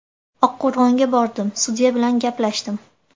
Oqqo‘rg‘onga bordim, sudya bilan gaplashdim.